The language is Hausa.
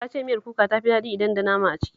Ta ce miyar kuka ta fi daɗi idan da nama a ciki